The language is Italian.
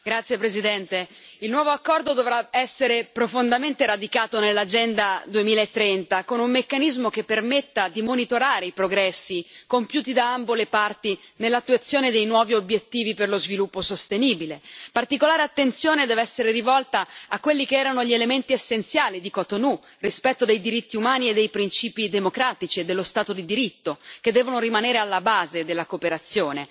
Signor Presidente, onorevoli colleghi, il nuovo accordo dovrà essere profondamente radicato nell'Agenda 2030, con un meccanismo che permetta di monitorare i progressi compiuti da ambo le parti nell'attuazione dei nuovi obiettivi per lo sviluppo sostenibile. Particolare attenzione deve essere rivolta a quelli che erano gli elementi essenziali di Cotonou rispetto dei diritti umani e dei principi democratici e dello Stato di diritto, che devono rimanere alla base della cooperazione.